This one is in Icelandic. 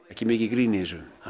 ekki mikið grín í þessu